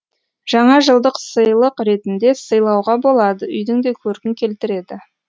жаңажылдық сыйлық ретінде сыйлауға болады үйдің де көркін келтіреді